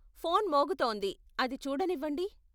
Phone మోగుతోంది, అది చూడనివ్వండి.